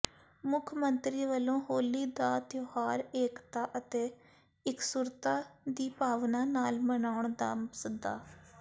ਮੁੱਖ ਮੰਤਰੀ ਵੱਲੋਂ ਹੋਲੀ ਦਾ ਤਿਉਹਾਰ ਏਕਤਾ ਅਤੇ ਇਕਸੁਰਤਾ ਦੀ ਭਾਵਨਾ ਨਾਲ ਮਨਾਉਣ ਦਾ ਸੱਦਾ